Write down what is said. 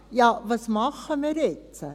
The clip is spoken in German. Ja, was machen wir jetzt?